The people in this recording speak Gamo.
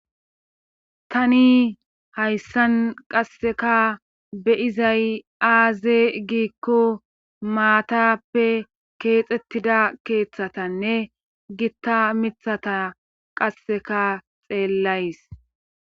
Tani hayssan qasseka beyizay aaze giikko maatappe keexettida keeththatanne gitta mithata qasseka xeellays.